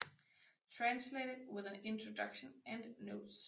Translated with an Introduction and Notes